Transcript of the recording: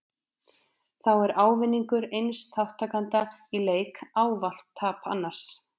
Þá er ávinningur eins þátttakanda í leik ávallt tap annars.